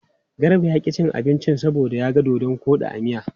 Garba ya ƙi cin abinci saboda ya ga dodon koɗi a cikin miya.